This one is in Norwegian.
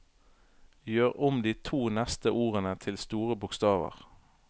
Gjør om de to neste ordene til store bokstaver